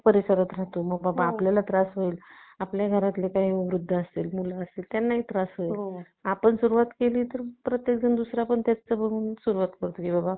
आपण आपण ही त्याच परिसरात राहतो मग बाबा आपल्याला त्रास होईल आपल्याला काय वृद्ध असतील मुलं असतील त्यांनाही ही त्रास होईल आपण सुरुवात प्रत्येक जण दुसरा पण दुसरा पण सुरुवात करतो की बाबा